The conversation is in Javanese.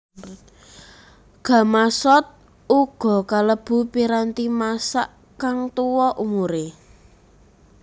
Gamasot uga kalebu piranti masak kang tuwa umuré